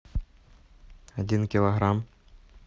один килограмм